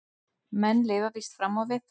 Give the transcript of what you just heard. Menn lifa víst fram á við.